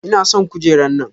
Ina son kujera nan.